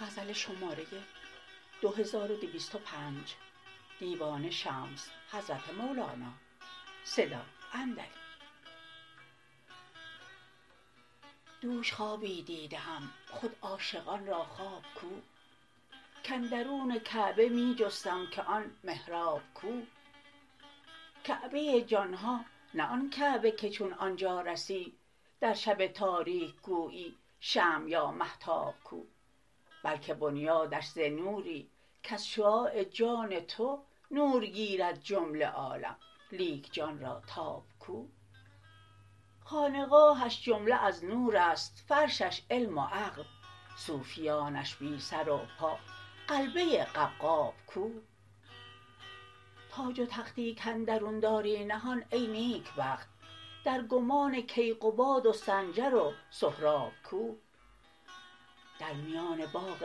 دوش خوابی دیده ام خود عاشقان را خواب کو کاندرون کعبه می جستم که آن محراب کو کعبه جان ها نه آن کعبه که چون آن جا رسی در شب تاریک گویی شمع یا مهتاب کو بلک بنیادش ز نوری کز شعاع جان تو نور گیرد جمله عالم لیک جان را تاب کو خانقاهش جمله از نور است فرشش علم و عقل صوفیانش بی سر و پا غلبه قبقاب کو تاج و تختی کاندرون داری نهان ای نیکبخت در گمان کیقباد و سنجر و سهراب کو در میان باغ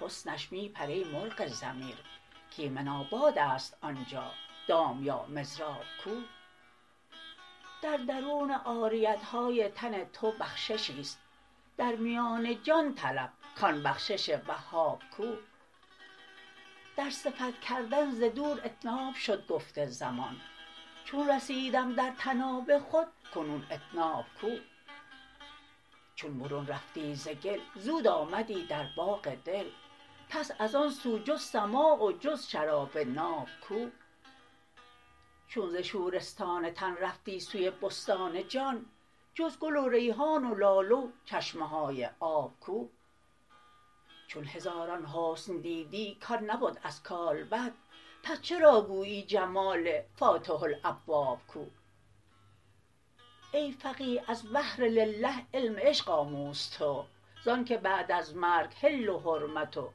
حسنش می پر ای مرغ ضمیر کایمن آباد است آن جا دام یا مضراب کو در درون عاریت های تن تو بخششی است در میان جان طلب کان بخشش وهاب کو در صفت کردن ز دور اطناب شد گفت زمان چون رسیدم در طناب خود کنون اطناب کو چون برون رفتی ز گل زود آمدی در باغ دل پس از آن سو جز سماع و جز شراب ناب کو چون ز شورستان تن رفتی سوی بستان جان جز گل و ریحان و لاله و چشمه های آب کو چون هزاران حسن دیدی کان نبد از کالبد پس چرا گویی جمال فاتح الابواب کو ای فقیه از بهر لله علم عشق آموز تو ز آنک بعد از مرگ حل و حرمت و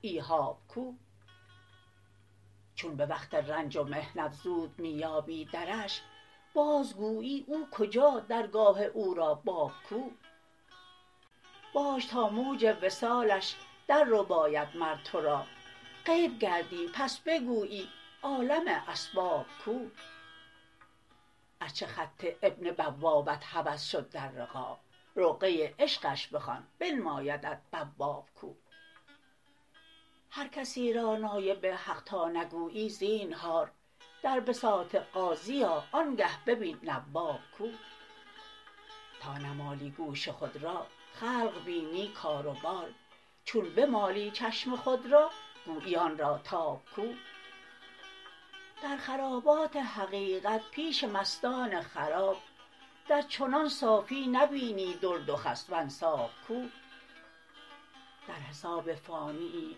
ایجاب کو چون به وقت رنج و محنت زود می یابی درش بازگویی او کجا درگاه او را باب کو باش تا موج وصالش دررباید مر تو را غیب گردی پس بگویی عالم اسباب کو ار چه خط این بوابت هوس شد در رقاع رقعه عشقش بخوان بنمایدت بواب کو هر کسی را نایب حق تا نگویی زینهار در بساط قاضی آ آنگه ببین نواب کو تا نمالی گوش خود را خلق بینی کار و بار چون بمالی چشم خود را گویی آن را تاب کو در خرابات حقیقت پیش مستان خراب در چنان صافی نبینی درد و خس و انساب کو در حساب فانیی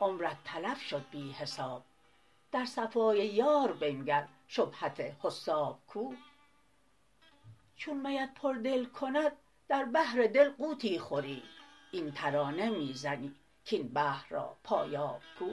عمرت تلف شد بی حساب در صفای یار بنگر شبهت حساب کو چون میت پردل کند در بحر دل غوطی خوری این ترانه می زنی کاین بحر را پایاب کو